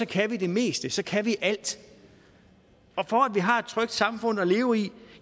kan vi det meste så kan vi alt og vi har et trygt samfund at leve i